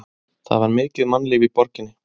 Það var mikið mannlíf í borginni.